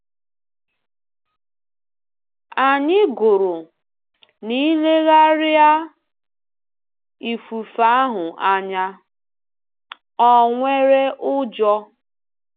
Anyị gụrụ: “N’ilegharịa ifufe ahụ anya, ọ nwere ụjọ.